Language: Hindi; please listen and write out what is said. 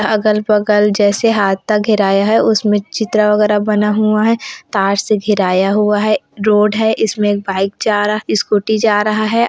अगल-बगल जैसे हाता का घिराया आया है उसमें चित्र वगैरह बना हुआ है तार से घेराया हुआ है एक रोड है इसमें एक बाइक जा रहा है स्कूटी जा रहा है।